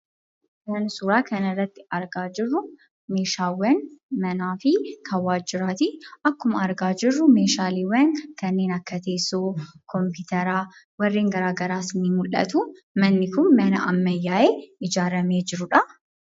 Wanti suura kana irratti argaa jirru meeshaawwan manaa fi kan waajjiraati. Akkuma argaa jirru meeshaalee akka teessoo, komputeraa fi wanneen garagaraas ni mul'atu. Manni kun mana ammayyaa'ee ijaarramee jirudha.